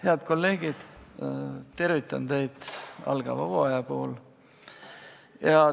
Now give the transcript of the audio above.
Head kolleegid, tervitan teid algava hooaja puhul!